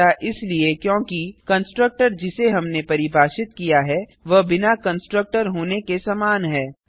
ऐसा इसलिए क्योंकि कंस्ट्रक्टर जिसे हमने परिभाषित किया है वह बिना कंस्ट्रक्टर होने के समान है